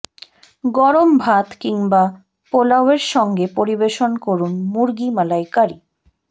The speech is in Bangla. গরম ভাত কিংবা পোলাওয়ের সঙ্গে পরিবেশন করুন মুরগি মালাইকারি